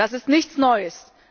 Das ist nichts Neues.